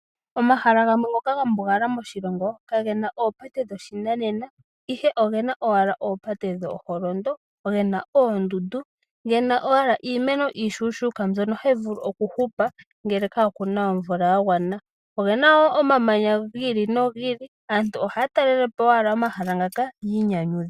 Omahala gamwe ngoka ga mbungala moshilongo ka ge na oopate dhopashinanena ihe oge na owala oopate dhooholondo, gena oondundu, ge na owala iimeno iishuushuuka mbyono hayi vulu oku hupa ngele kaa ku na omvula ya gwana. Oge na woo omamanya gi ili nogi ili. Aantu ohaya talelepo owala omahala ngaka ya inyanyudhe.